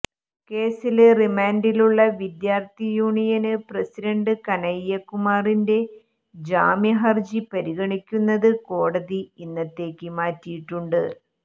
കേസില് റിമാന്റിലുള്ള വിദ്യാര്ത്ഥിയൂണിയന് പ്രസിഡന്റ് കനയ്യ കുമാറിന്റെ ജാമ്യഹര്ജി പരിഗണിക്കുന്നത് കോടതി ഇന്നത്തേക്ക് മാറ്റിയിട്ടുണ്ട്